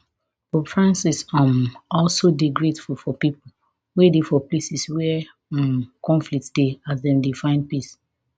pope francis um also dey grateful for pipo wey dey for places wia um conflict dey as dem dey find peace